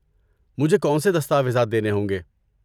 مجھے کون سے دستاویزات دینے ہوں گے؟